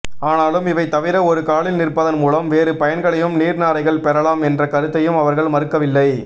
ஆனாலும் இவை தவிர ஒரு காலில் நிற்பதன் மூலம் வேறு பயன்களையும் நீர்நாரைகள் பெறலாம் என்ற கருத்தையும் அவர்கள் மறுக்கவில்லை